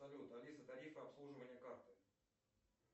салют алиса тарифы обслуживания карты